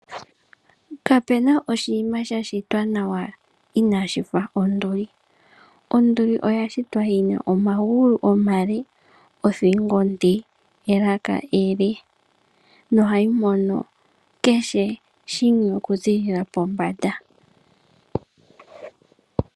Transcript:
Kapuna oshinamwenyo shashitwa nawa inaashi fa onduli. Onduli oya shitwa yina omagulu omale , othingo onde nelaka ele. Ohayi mono kehe shimwe okuziilila pombanda .